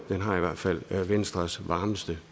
det har i hvert fald venstres varmeste